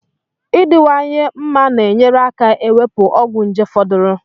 Adiwanyehi mma na enyere aka ewepu ogwu nje foduru